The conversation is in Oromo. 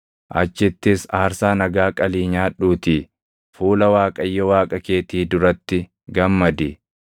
Achittis aarsaa nagaa qalii nyaadhuutii fuula Waaqayyo Waaqa keetii duratti gammadi.